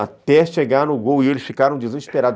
Até chegar no gol e eles ficaram desesperados.